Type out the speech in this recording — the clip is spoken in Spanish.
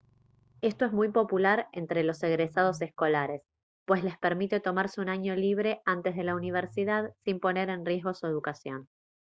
esto es muy popular entre los egresados escolares pues les permite tomarse un año libre antes de la universidad sin poner en riesgo su educación